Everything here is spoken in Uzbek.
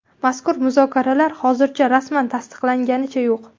Mazkur muzokaralar hozircha rasman tasdiqlanganicha yo‘q.